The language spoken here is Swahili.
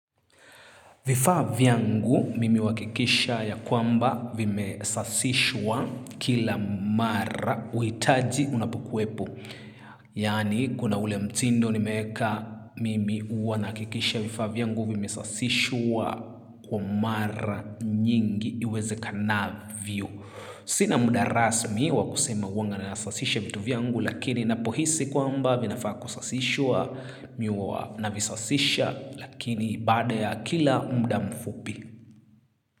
Vifaa vyangu mimi huwakikisha ya kwamba vime safishwa kila mara uitaji unapukwepo. Yani kuna ule mtindo nimeka mimi huwanakikisha vifaa vyangu vime sasishwa kwamara nyingi iwezekanavyo. Sina muda rasmi wakusema waanga na safisha vitu vyangu lakini napohisi kwamba vinafaa kusasishwa mimi huwa navisasisha visasisha. Lakini badaa ya kila muda mfupi.